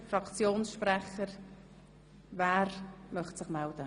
Fraktionssprechende können sich anmelden.